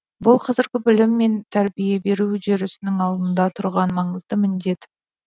бұл қазіргі білім мен тәрбие беру үдерісінің алдында тұрған маңызды міндет